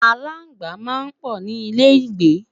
alaagba má n pò ní ilẹ igbe